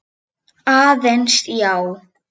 Aðeins, já.